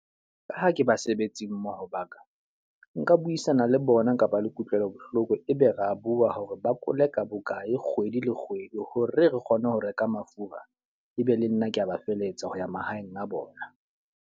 Ka ha ke basebetsi mmoho ba ka, nka buisana le bona nkaba le kutlwelo bohloko. E be re a bua hore ba koleka bokae kgwedi le kgwedi hore re kgone ho reka mafura. E be le nna ke a ba feletsa ho ya mahaeng a bona.